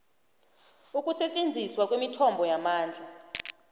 ukusetjenziswa kwemithombo yamandla